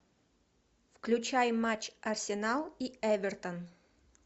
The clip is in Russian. включай матч арсенал и эвертон